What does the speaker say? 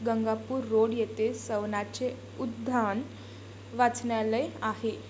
Gangapur road येथे सवनाचे 'उद्यान वाचनालय आहे.